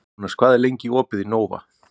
Jónas, hvað er lengi opið í Nova?